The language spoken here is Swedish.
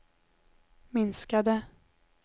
minskade